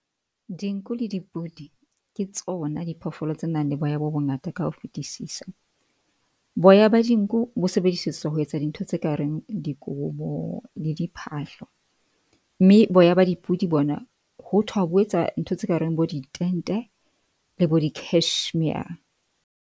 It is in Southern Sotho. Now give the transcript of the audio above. Dinku le dipudi ke tsona diphoofolo tse nang le boya bo bongata ka ho fetisisa. Boya ba dinku bo sebedisetswa ho etsa dintho tse ka reng dikobo le diphahlo, mme boya ba dipudi bona hothwa bo etsa ntho tse kareng bo ditente le bo di-cashmere.